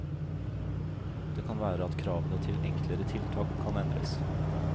Det kan være at kravene til enklere tiltak kan endres.